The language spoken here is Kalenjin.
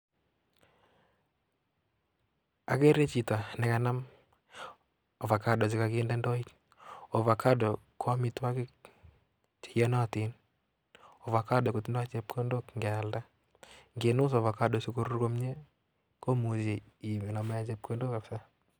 Akere chito nekanam ovacado chekakinde ndoit. Ovacadoko amitwokik cheiyonotin, ovacado kotindoi chepkondok nkealda. Nkinus ovacado sikoruryo komie komuchi iname chepkondok kapsa.